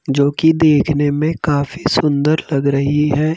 जो कि देखने में काफी सुंदर लग रही है।